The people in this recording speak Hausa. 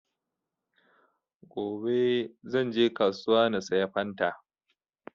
Gobe zan je kasuwa na saya fanta